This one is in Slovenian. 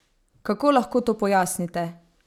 Kako lahko to pojasnite?